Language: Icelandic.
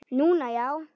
Núna, já.